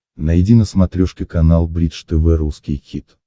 найди на смотрешке канал бридж тв русский хит